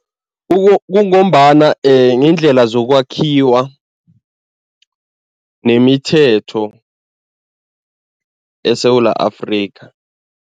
Kungombana ngendlela zokwakhiwa nemithetho eSewula Afrika.